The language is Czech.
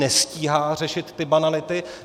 Nestíhá řešit ty banality.